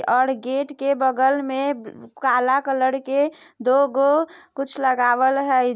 और गेट के बगल में काला कलर के दो गो कुछ लगावल है।